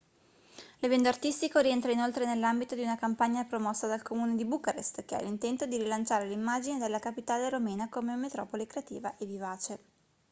l'evento artistico rientra inoltre nell'ambito di una campagna promossa dal comune di bucarest che ha l'intento di rilanciare l'immagine della capitale romena come metropoli creativa e vivace